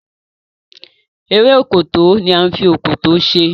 Eré Òkòtó ní a fí Òkòtó ṣe